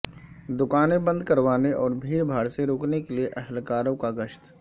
دکانیں بند کروانے اور بھیڑ بھاڑ سے روکنے کے لیے اہلکاروں کا گشت